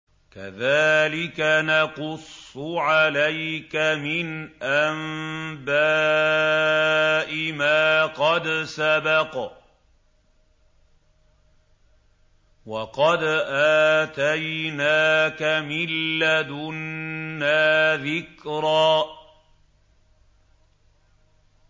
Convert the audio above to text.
كَذَٰلِكَ نَقُصُّ عَلَيْكَ مِنْ أَنبَاءِ مَا قَدْ سَبَقَ ۚ وَقَدْ آتَيْنَاكَ مِن لَّدُنَّا ذِكْرًا